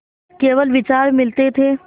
केवल विचार मिलते थे